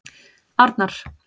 Arnar